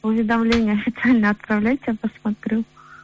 уведомление официально отправляйте посмотрю